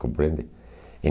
Compreende?